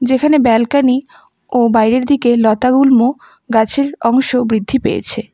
এখানে ব্যালকনি ও বাইরের দিকে লতাগুল্ম গাছের অংশ বৃদ্ধি পেয়েছে।